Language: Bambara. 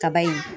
Kaba in